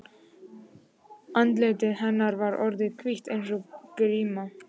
Andlit hennar var orðið hvítt eins og gríma.